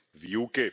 výuky.